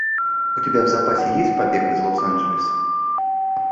у тебя в запасе есть побег из лос анджелеса